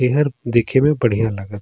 एहर देखे म बढ़िया लगत--